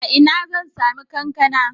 A ina zan sami kankana?